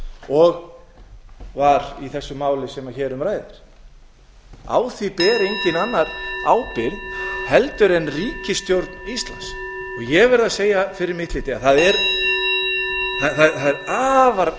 og var í þessu máli sem hér um ræðir á því ber enginn annar ábyrgð heldur en ríkisstjórn íslands og ég verð að segja fyrir mitt leyti að það er afar